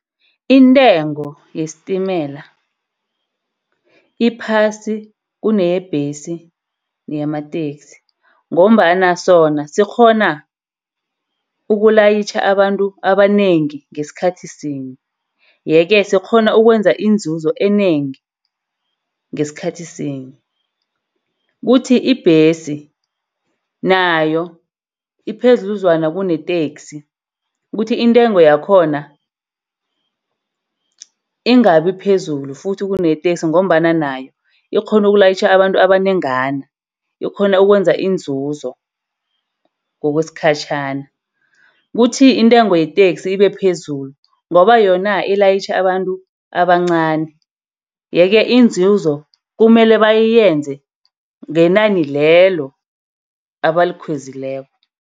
Intengo yesitimelela iphasi kuneyebhesi neyamateksi ngombana sona sikghona ukulayitjha abantu abanengi ngesikhathi sinye. Yeke sikghona ukwenza inzuzo enengi, ngesikhathi sinye. Kuthi ibhesi nayo iphezudlwana kuneteksi. Kuthi intengo yakhona ingabi phezulu futhi kuneenteksi ngombana nayo ikghona ukulayitjha abantu abanengi. Ikghona ukwenza inzuzo ngokwesikhatjhana. Kuthi intengo yeteksi ibe phezulu ngoba yona ilayitjha abantu abancani. Yeke inzuzo kumele bayenze ngenani lelo abalikhwezileko.